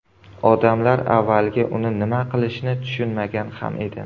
Odamlar avvaliga uni nima qilishni tushunmagan ham edi.